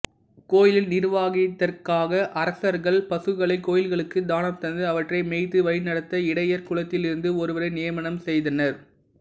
கோயிலின் நிர்வாகத்திற்காக அரசர்கள் பசுக்களை கோயில்களுக்கு தானம் தந்து அவற்றை மேய்த்து வழிநடத்த இடையர் குலத்திலிருந்து ஒருவரை நியமனம் செய்தனர்